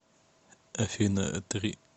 афина три